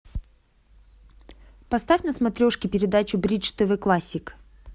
поставь на смотрешке передачу бридж тв классик